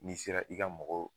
N'i sera i ka mɔgɔw